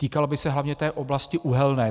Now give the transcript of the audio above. Týkal by se hlavně té oblasti Uhelné.